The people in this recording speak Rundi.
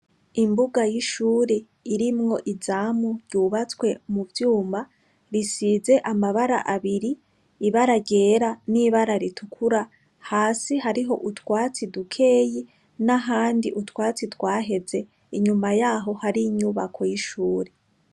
Imbuga y' ishuri irimwo izamu ryubatswe mu vyuma risize amabara abiri ibara ryera n' ibara ritukura hasi hariho utwatsi dukeyi n' ahandi utwatsi twaheze inyuma yaho hari inyubako y' ishuri.